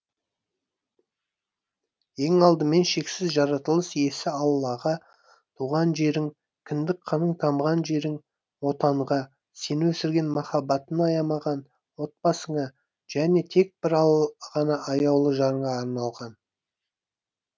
ең алдымен шексіз жаратылыс иесі аллаға туған жерің кіндік қаның тамған жерің отанға сені өсірген махаббатын аямаған отбасыңа және тек бір ғана аяулы жарыңа арналған